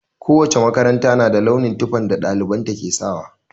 Ko wace makaranta na da launin tufafin da ɗalibanta ke sawa.